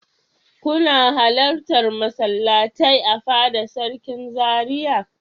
Kuna halartar masallatai a fada sarkin Zaria.